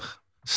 qaranlıq.